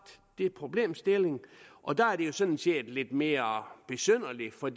den problemstilling og der er det jo sådan set lidt mere besynderligt for